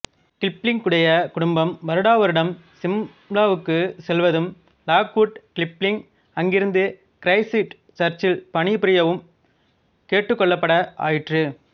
கிப்ளிங்குடைய குடும்பம் வருடாவருடம் ஸிம்லாவுக்கு செல்வதும் லாக்வுட் கிப்ளிங் அங்கிருந்த கிறைஸ்ட் சர்ச்சில் பணிபுரியவும் கேட்டுக்கொள்ளப்பட ஆயிற்று